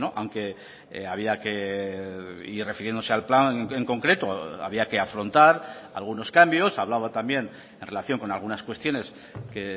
aunque había que y refiriéndose al plan en concreto había que afrontar algunos cambios hablaba también en relación con algunas cuestiones que